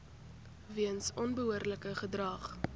weens onbehoorlike gedrag